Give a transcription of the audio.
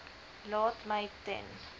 laat my ten